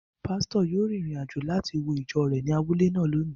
Pásítọ̀ yóò rin ìrìn-àjò láti wo ìjọ rẹ̀ ní abúlé náà lónìí